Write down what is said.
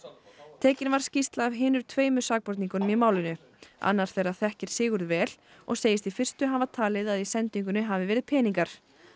tekin var skýrsla af hinum tveimur sakborningunum í málinu annar þeirra þekkir Sigurð vel og segist í fyrstu hafa talið að í sendingunni hafi verið peningar